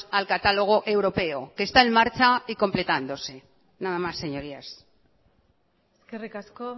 al catálogo europeo que está en marcha y completándose nada más señorías eskerrik asko